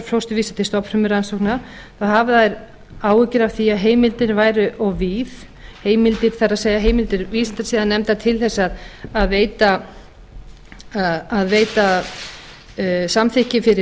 umframfósturvísa til stofnfrumurannsókna þá hafa þær áhyggjur af því að heimildin væri of víð það er heimildir vísindasiðanefndar til þess að veita samþykki fyrir